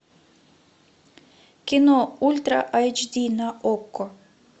кино ультра айч ди на окко